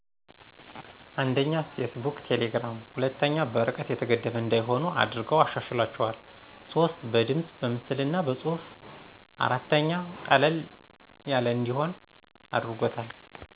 አንደኛ፦ ፌስቡክ ,ቴሌግራም ሁለተኛ፦ በርቀት የተገደበ እዳይሆኑ አድርገው አሻሽሏቸዋል ሶስት፦ በድምፅ ,በምስልና በፁህፍ አራተኛ፦ ቀለል ያለእዲሆን አድርጎታል